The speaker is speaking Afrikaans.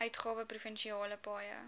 uitgawe provinsiale paaie